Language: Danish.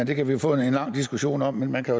kan vi jo få en lang diskussion om man kan